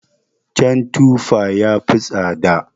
Jan tufa yafi tsada.